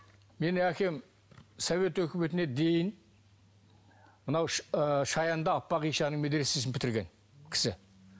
менің әкем совет үкіметіне дейін мынау ы шаянда аппақ аппақ ишанның медресесін бітірген кісі